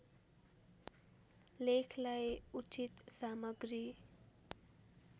लेखलाई उचित सामग्री